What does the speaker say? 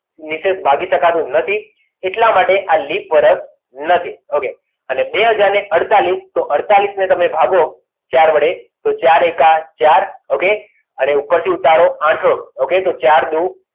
નિશેષ ભાગી શકાતું નથી એટલા માટે આ લીપ વર્ષ નથી અને બે હાજર અડતાલીશ તો અડતાલીશ ને તમે ભાગો ચાર વડે તો ચાર okay ચાર okay અને ઉપરથી ઉતારો આઠડો તો ચાર દુ